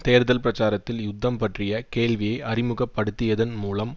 தேர்தல் பிரச்சாரத்தில் யுத்தம் பற்றிய கேள்வியை அறிமுகப்படுத்தியதன் மூலம்